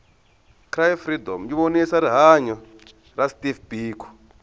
cry freedom yivonisa rihhanya ra steve biko